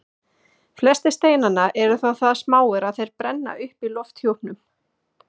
Flestir steinanna eru þó það smáir að þeir brenna upp í lofthjúpnum.